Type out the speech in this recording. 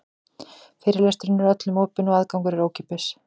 Fyrirlesturinn er öllum opinn og aðgangur er ókeypis.